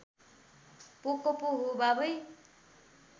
पोको पो हो बाबै